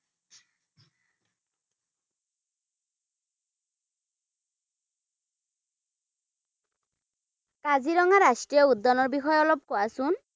কাজিৰঙা ৰাষ্ট্ৰীয় উদ্য়ানৰ বিষয়ে অলপ কোৱাচোন?